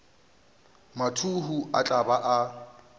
mathuhu o tla ba a